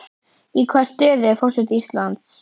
Í hvaða stöðu er forseti Íslands?